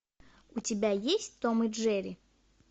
у тебя есть том и джерри